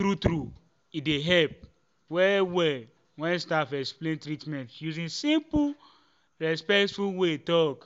true true e dey help well well when staff explain treatment using simple and respectful way talk.